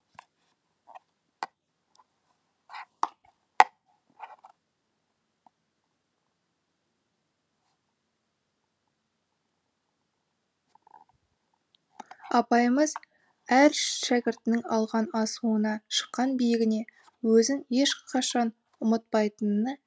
апайымыз әр шәкіртінің алған асуына шыққан биігіне өзін ешқашан ұмытпайтынына